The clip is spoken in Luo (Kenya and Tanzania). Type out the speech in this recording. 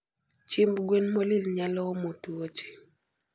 Chiemb gwen molil nyalo omo tuoche